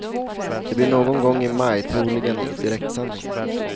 Det blir någon gång i maj, troligen i direktsändning.